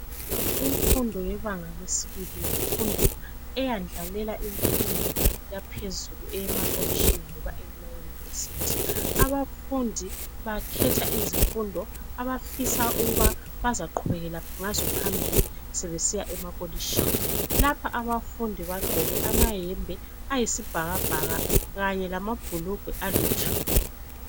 Imfundo yebanga yesibili yimfundo eyendlalela izifundo yaphezulu emakolitshini lasemayunivesithi. Abafundi bakhetha izifundo abafisa ukuba bazaqhubekela ngazo phambili sebesiya emakolitshini. Lapha abafundi bagqoke amayembe ayisibhakabhaka kanyelamabhulugwe alithuli.